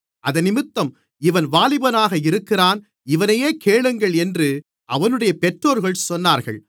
அதினிமித்தம் இவன் வாலிபனாக இருக்கிறான் இவனையே கேளுங்கள் என்று அவனுடைய பெற்றோர்கள் சொன்னார்கள்